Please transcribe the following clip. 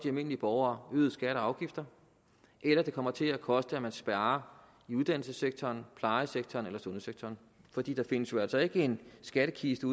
almindelige borgere øgede skatter og afgifter eller det kommer til at koste at man sparer i uddannelsessektoren plejesektoren eller sundhedssektoren for der findes jo altså ikke en skattekiste